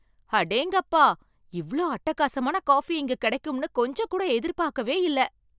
அடேங்கப்பா! இவ்ளோ அட்டகாசமான காஃபி இங்க கெடைக்கும்னு கொஞ்சம் கூட எதிர்பார்க்கவே இல்ல.